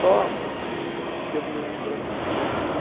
Só que eu me lembro assim, quando eu tinha...